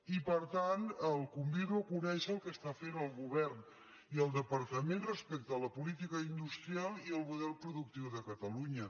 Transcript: i per tant el convido a conèixer el que estan fent el govern i el departament respecte a la política industrial i el model productiu de catalunya